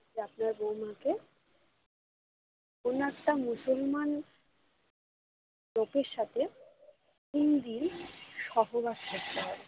যে আপনার বৌমাকে কোনো একটা মুসলমান লোকের সাথে তিনদিন সহবাস করতে হবে। এটা